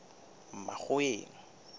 makgoweng